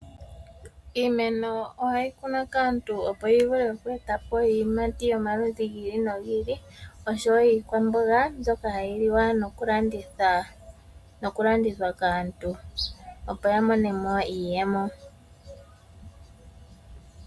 Iimeno ohayi kunwa kaantu opo yi vule oku eta po iiyimati yomaludhi gi ili noyi ili noshowo iikwamboga mbyoka hayi liwa nokulandithwa kaantu, opo ya mone mo iiyemo.